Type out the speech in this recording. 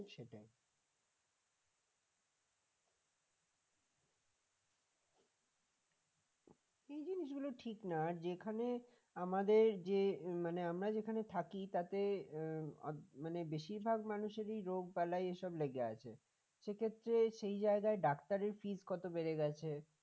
জিনিসগুলো ঠিক না আর যেখানে আমাদের যে মানে আমরা যেখানে থাকি তাতে মানে বেশিরভাগ মানুষেরই রোগবালাই এসব লেগে আছে সে ক্ষেত্রে সেই জায়গায় ডাক্তারের fees বেড়ে গেছে